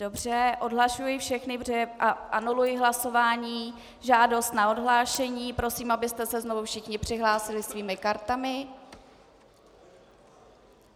Dobře, odhlašuji všechny a anuluji hlasování, žádost na odhlášení, prosím, abyste se znovu všichni přihlásili svými kartami.